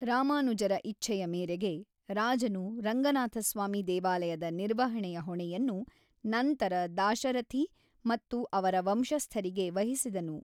ರಾಮಾನುಜರ ಇಚ್ಛೆಯ ಮೇರೆಗೆ, ರಾಜನು ರಂಗನಾಥಸ್ವಾಮಿ ದೇವಾಲಯದ ನಿರ್ವಹಣೆಯ ಹೊಣೆಯನ್ನು ನಂತರ ದಾಶರಥಿ ಮತ್ತು ಅವರ ವಂಶಸ್ಥರಿಗೆ ವಹಿಸಿದನು.